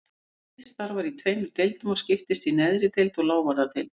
Þingið starfar í tveimur deildum og skiptist í neðri deild og lávarðadeild.